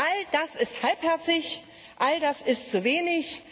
All das ist halbherzig, all das ist zu wenig!